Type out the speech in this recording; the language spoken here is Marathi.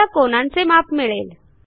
आपल्याला कोनांचे माप मिळेल